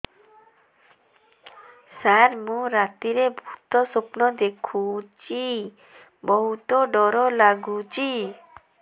ସାର ମୁ ରାତିରେ ଭୁତ ସ୍ୱପ୍ନ ଦେଖୁଚି ବହୁତ ଡର ଲାଗୁଚି